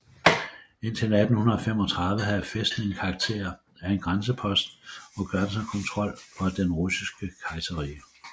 Indtil 1835 havde fæstningen karakter af en grænsepost og grænsekontrol for Det Russiske Kejserrige